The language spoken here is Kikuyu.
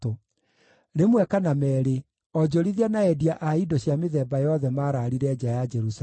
Rĩmwe kana meerĩ, onjorithia na endia a indo cia mĩthemba yothe maraarire nja ya Jerusalemu.